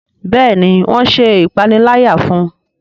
Béèni wón ṣe ìpaniláyà fún.